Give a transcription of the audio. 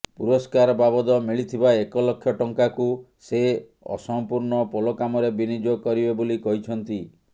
ପୁରସ୍କାର ବାବଦ ମିଳିଥିବା ଏକଲକ୍ଷ ଟଙ୍କାକୁ ସେ ଅସମ୍ପୁର୍ଣ୍ଣ ପୋଲ କାମରେ ବିନିଯୋଗ କରିବେ ବୋଲି କହିଛନ୍ତି